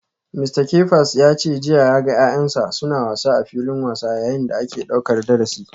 Mista Kefas ya ce jiya ya ga ‘ya’yansa suna wasa a filin wasa yayin da ake daukar darasi.